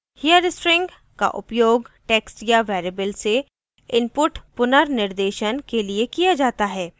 here string का उपयोग text या variable से input पुनर्निर्देशन के लिए किया जाता है